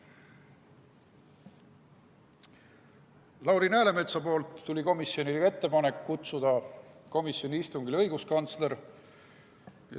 Lauri Läänemetsalt tuli komisjonile ettepanek kutsuda komisjoni istungile õiguskantsler.